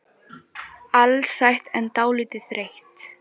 Alsæl en dálítið þreytt.